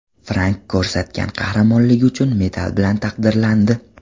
Frank ko‘rsatgan qahramonligi uchun medal bilan taqdirlandi.